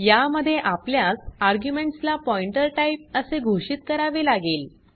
या मध्ये आपल्यास आर्ग्युमेंट्स ला पॉइंटर टाइप असे घोषित करावे लागेल